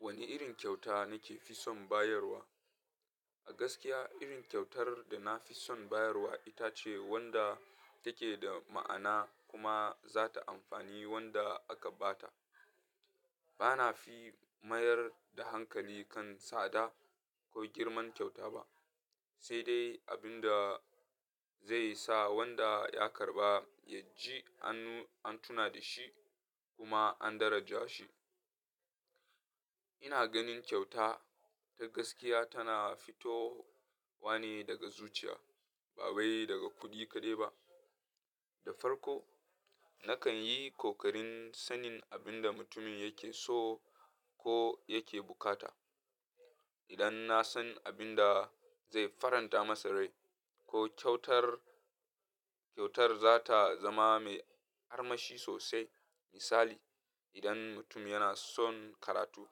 Wane irin kyauta nake fi son bayarwa? A gaskiya, irin kyautar da na fi son bayarwa ita ce wadda take da ma'ana kuma za ta amfani wanda aka ba ta. Ba na fi mayar da hankali kan tsada ko girman kyauta ba, sai dai abin da zai sa wanda ya karɓa ya ji an tuna da shi kuma an daraja shi. Ina ganin kyauta ta gaskiya tana fitowa ne daga zuciya, ba wai daga kuɗi kaɗai ba. Da farko, nakan yi kokarin sanin abin da mutumin yake so ko yake bukata. Idan na san abin da zai faranta masa rai ko kyautar kyautar za ta zama mai armashi sosai. Misali, idan mutum yana son karatu,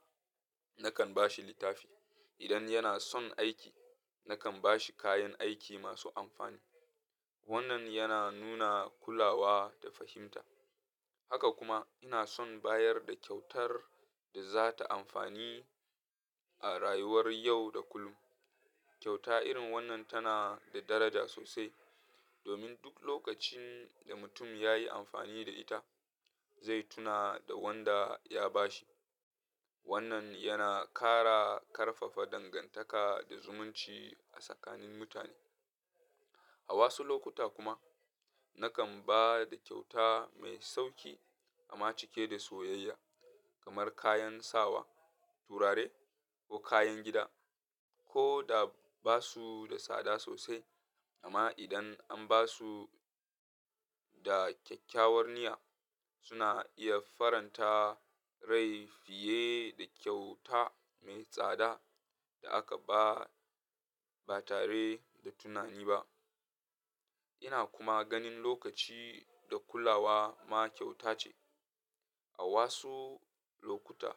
nakan ba shi littafi. Idan yana son aiki, nakan ba shi kayan aiki masu amfani. Wannan yana nuna kulawa da fahimta. Haka kuma, ina son bayar da kyautar da za ta amfani a rayuwar yau da kullum. Kyauta irin wannan tana da daraja sosai domin duk lokacin da mutum ya yi amfani da ita, zai tuna da wanda ya ba shi. Wannan yana ƙara ƙarfafa dangantaka da zumunci a tsakanin mutane. A wasu lokuta kuma, nakan ba da kyauta mai sauƙi amma cike da soyayya, kamar kayan sawa, turare, ko kayan gida. Ko da ba su da tsada sosai, amma idan an ba su da kyakkyawar niyya, suna iya faranta rai fiye da kyauta mai tsada da aka ba ba tare da tunani ba. Ina kuma ganin lokaci da kulawa ma kyauta ce. A wasu lokuta,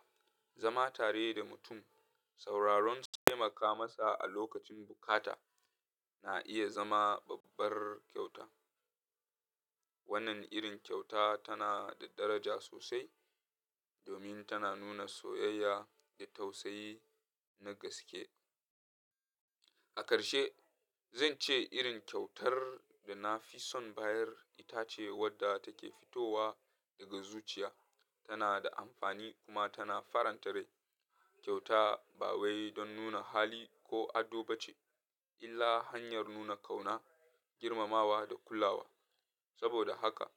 zama tare da mutum, sauraronsa, taimaka masa a lokacin bukata na iya zama babbar kyauta. Wannan irin kyauta tana da daraja sosai domin tana nuna soyayya da tausayi na gaske. A karshe, zan ce irin kyautar da na fi son bayar ita ce wadda take fitowa daga zuciya, tana da amfani kuma tana faranta rai. Kyauta ba wai don nuna hali ko ado ba ce, illa hanyar nuna ƙauna, girmamawa da kulawa. Saboda haka,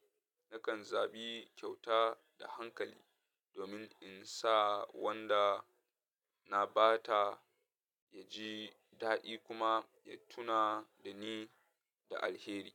nakan zabi kyauta da hankali domin in sa wanda na ba ta ya ji daɗi kuma ya tuna da ni da alheri.